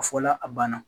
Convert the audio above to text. A fɔla a banna